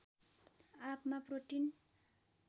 आँपमा प्रोटिन